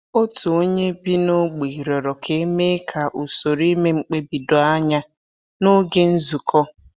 Otu onye bi n’ógbè rịọrọ ka e mee ka usoro ime mkpebi doo anya n’oge nzukọ.